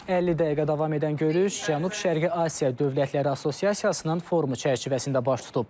50 dəqiqə davam edən görüş Cənub-Şərqi Asiya dövlətləri Assosiasiyasının forumu çərçivəsində baş tutub.